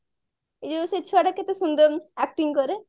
ଏଇ ଯୋଉ ସେଇ ଛୁଆଟା କେତେ ସୁନ୍ଦର acting କରେ